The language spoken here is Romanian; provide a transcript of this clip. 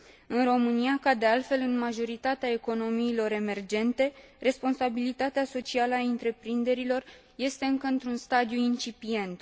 În România, ca de altfel în majoritatea economiilor emergente, responsabilitatea socială a întreprinderilor este încă într un stadiu incipient.